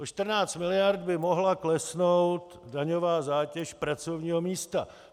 O 14 miliard by mohla klesnout daňová zátěž pracovního místa.